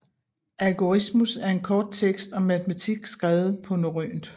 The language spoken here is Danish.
Algorismus er en kort tekst om matematik skrevet på norrønt